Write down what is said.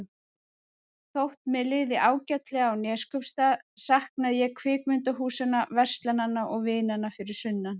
Þótt mér liði ágætlega á Neskaupstað saknaði ég kvikmyndahúsanna, verslananna og vinanna fyrir sunnan.